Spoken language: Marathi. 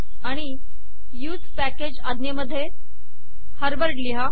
आणि use पॅकेज अज्ञेमध्ये हार्वर्ड लिहा